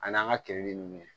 An'an ka keninge ninnu